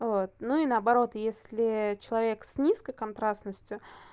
вот ну и наоборот если человек с низкой контрастностью